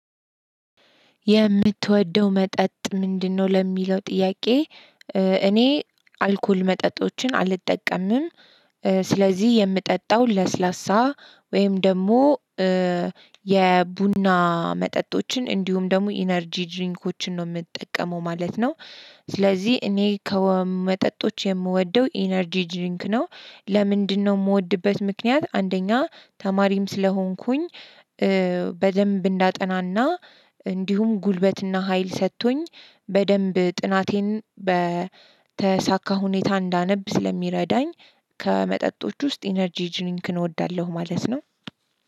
የምትወደው መጠጥ ምንድነው ለሚለው ጥያቄ? እኔ አልኮል መጠጦችን አልጠቀምም። ስለዚህ የምጠጣው ለስላሳ ወይም ደግሞ የቡና መጠጦችን እንዲሁም ደግሞ ኢነርጂ ድሪንኮችን ነው የምጠቀመው ማለት ነው። ስለዚህ እኔ ከመጠጦች የምወደው ኢነርጂ ድንክ ነው። ለምንድነው የምወድበት ምክንያት አንደኛ ተማሪም ስለሆንኩኝ በደንብ እንዳጠናና እንዲሁም ጉልበትና ሀይል ሰጥቶኝ በደንብ ጥናቴን በተሳካ ሁኔታ እንዳነብ ስለሚረዳኝ። ከመጠጦች ውስጥ ኢነርጂ ጅሪንክን እወዳለሁ ማለት ነው።